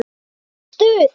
Það var stuð!